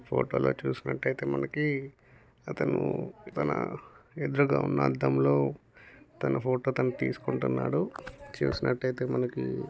Photo లో చూసుకుంటే మనకి అతను తన ఎదురుంగ ఉన్న అద్దం లో తన ఫోటో తను తీస్కున్తున్నాడు. చుసినట్టైతే మనకి--